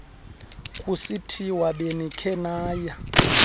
kusithiwa benikhe naya